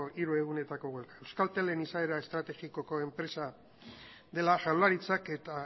hiru egunetako greba euskaltelen izaera estrategikoko enpresa dela jaurlaritzak eta